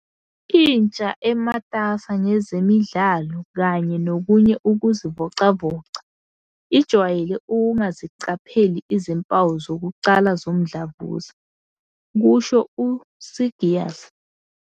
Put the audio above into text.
"Intsha, ematasa ngezemidlalo kanye nokunye ukuzivocavoca, ijwayele ukungaziqapheli izimpawu zokuqala zomdlavuza," kusho u-Seegers.